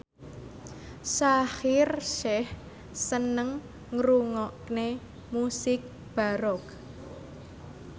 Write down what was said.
Shaheer Sheikh seneng ngrungokne musik baroque